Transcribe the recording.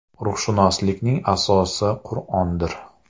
Ruhshunoslikning asosi Qur’ondir.